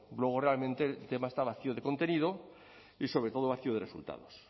luego realmente el tema está vacío de contenido y sobre todo vacío de resultados